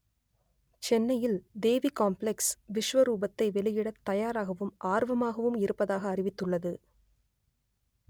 சென்னையில் தேவி காம்ப்ளக்ஸ் விஸ்வரூபத்தை வெளியிட‌த் தயாராகவும் ஆர்வமாகவும் இருப்பதாக அறிவித்துள்ளது